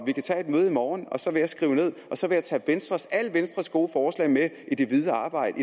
vi kan tage et møde i morgen og så vil jeg tage alle venstres gode forslag med i det videre arbejde